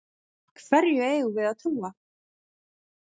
Hverju eigum við að trúa?